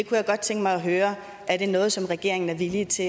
kunne godt tænke mig at høre er det noget som regeringen er villig til